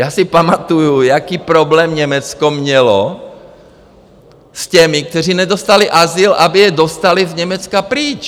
Já si pamatuju, jaký problém Německo mělo s těmi, kteří nedostali azyl, aby je dostali z Německa pryč.